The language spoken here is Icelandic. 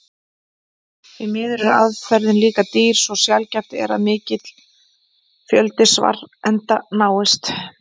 Því miður er aðferðin líka dýr svo sjaldgæft er að mikill fjöldi svarenda náist.